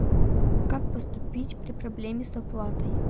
как поступить при проблеме с оплатой